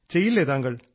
ചെയ്യില്ലേ താങ്കൾ